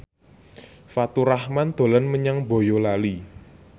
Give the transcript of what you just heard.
Faturrahman dolan menyang Boyolali